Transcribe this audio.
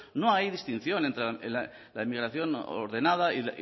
no hay distinción entre la inmigración ordenada